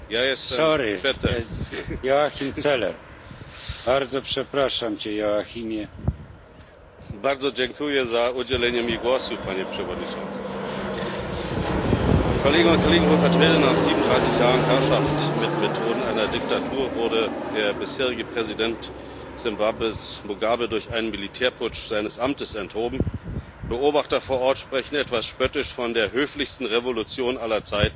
Herr Präsident, Hohe Vertreterin, liebe Kolleginnen und Kollegen! Nach 37 Jahren Herrschaft mit Methoden einer Diktatur wurde der bisherige Präsident Simbabwes, Mugabe, durch einen Militärputsch seines Amtes enthoben. Beobachter vor Ort sprechen etwas spöttisch von der höflichsten Revolution aller Zeiten